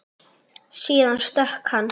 Síðan stökk hann.